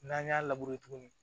N'an y'a tuguni